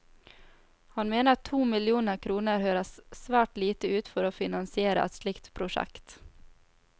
Han mener to millioner kroner høres svært lite ut for å finansiere et slikt prosjekt.